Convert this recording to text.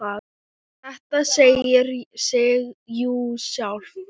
Þetta segir sig jú sjálft!